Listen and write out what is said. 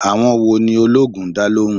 Àwọn wo ni oloogun ń dá lóhùn?